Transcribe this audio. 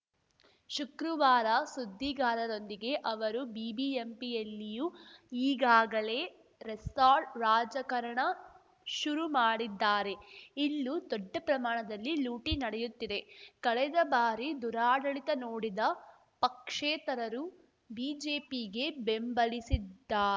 ಶುಕ್ರವಾರ ಸುದ್ದಿಗಾರರೊಂದಿಗೆ ಅವರು ಬಿಬಿಎಂಪಿಯಲ್ಲಿಯೂ ಈಗಾಗಲೇ ರೆಸಾರ್ಟ್‌ ರಾಜಕಾರಣ ಶುರುಮಾಡಿದ್ದಾರೆ ಇಲ್ಲೂ ದೊಡ್ಡ ಪ್ರಮಾಣದಲ್ಲಿ ಲೂಟಿ ನಡೆಯುತ್ತಿದೆ ಕಳೆದ ಬಾರಿ ದುರಾಡಳಿತ ನೋಡಿದ ಪಕ್ಷೇತರರು ಬಿಜೆಪಿಗೆ ಬೆಂಬಲಸಿದ್ದಾ